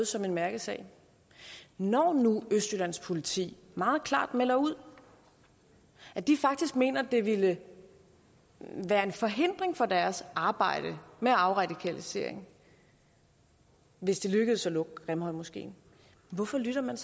som en mærkesag når nu østjyllands politi meget klart melder ud at de faktisk mener det ville være en forhindring for deres arbejde med afradikalisering hvis det lykkedes at lukke grimhøjmoskeen hvorfor lytter man